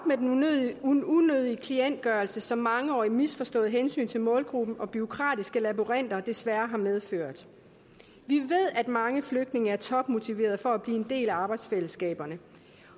med den unødige klientgørelse som et mangeårigt misforstået hensyn til målgruppen og bureaukratiske labyrinter desværre har medført vi ved at mange flygtninge er topmotiverede for at blive en del af arbejdsfællesskaberne